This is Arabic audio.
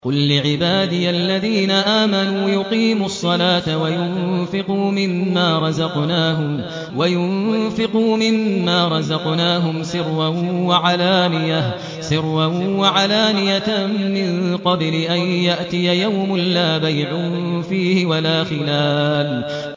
قُل لِّعِبَادِيَ الَّذِينَ آمَنُوا يُقِيمُوا الصَّلَاةَ وَيُنفِقُوا مِمَّا رَزَقْنَاهُمْ سِرًّا وَعَلَانِيَةً مِّن قَبْلِ أَن يَأْتِيَ يَوْمٌ لَّا بَيْعٌ فِيهِ وَلَا خِلَالٌ